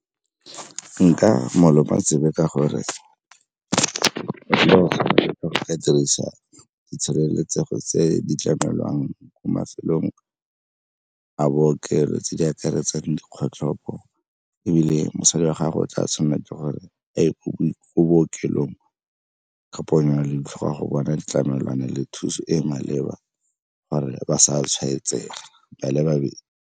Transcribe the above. Nka mo loma tsebe ka gore, go ka dirisa di tshireletsego tse di tlamelwang mo mafelong a bookelo tse di akaretsang dikgotlhopo, ebile mosadi wa gago tla tshameke gore a ye ko bookelong ka ponyo ya leitlho go bona ditlamelwana le thuso e e maleba gore ba sa tshwaetsega ba le babedi.